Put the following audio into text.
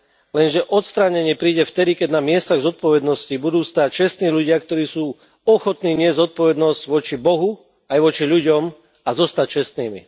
Lenže odstránenie príde vtedy, keď na miestach zodpovednosti budú stáť čestní ľudia, ktorí sú ochotní niesť zodpovednosť voči Bohu aj voči ľudom a zostať čestnými.